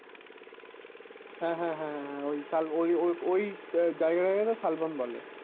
হ্যাঁ হ্যাঁ হ্যাঁ ওই শাল ওই ওই জায়গাটা কে তো শালবন বলে